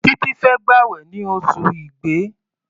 Títí fẹ́ gbàwẹ̀ ní oṣù Igbe.